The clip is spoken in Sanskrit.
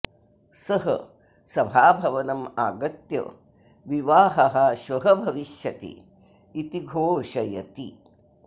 सः सभाभवनम् आगत्य विवाहः श्वः भविष्यति इति घोषयति